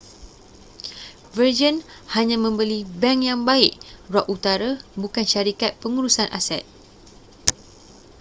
virgin hanya membeli bank yang baik' rock utara bukan syarikat pengurusan aset